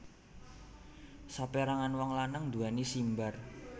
Saperangan wong lanang nduweni simbar